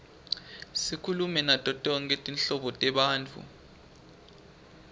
sikhulume nato tonkhe tinhlobo tebantfu